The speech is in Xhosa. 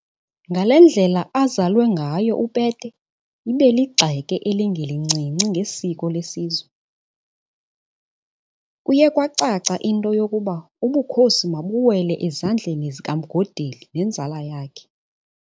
Ngale ndlela azalwe ngayo uPete ibeligxeke elingelincinci ngesiko lesizwe, kuye kwacaca into yokuba ubukhosi mabuwele ezandleni zikaMgodeli nenzala yakhe.